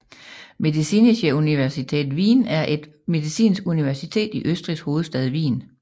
Medizinische Universität Wien er et medicinsk universitet i Østrigs hovedstad Wien